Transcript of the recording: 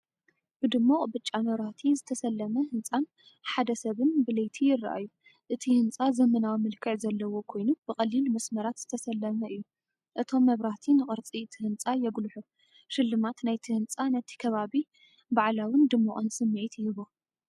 ብድሙቕ ብጫ መብራህቲ ዝተሰለመ ህንጻን ሓደ ሰብን ብለይቲ ይረኣዩ። እቲ ህንጻ ዘመናዊ መልክዕ ዘለዎ ኮይኑ ብቐሊል መስመራት ዝተሰለመ እዩ። እቶም መብራህቲ ንቅርጺ እቲ ህንጻ የጉልሑ። ሽልማት ናይቲ ህንጻ ነቲ ከባቢ በዓላውን ድሙቕን ስምዒት ይህቦ።